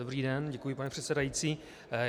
Dobrý den, děkuji, pane předsedající.